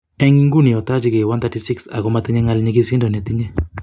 En inguni otochingei 136, ago motinye gal nyingisido notinye.